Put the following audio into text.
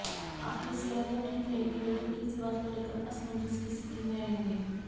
आपकी सेहत तो ठीक रहेगी लेकिन किसी बात को लेकर असमंजस की स्थिति में रहेंगे